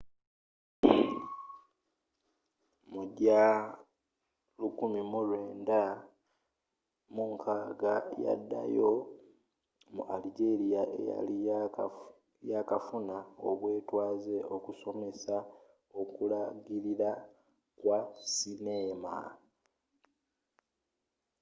mu gya 1960 yaddayo mu algeria eyali yakafuna obwetwaze okusomesa okulagirira kwa sineema